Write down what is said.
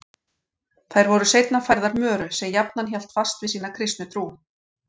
Þær voru seinna færðar Möru sem jafnan hélt fast við sína kristnu trú.